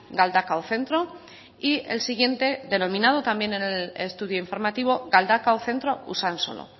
galdakao centro y el siguiente denominado también en el estudio informativo galdakao centro usansolo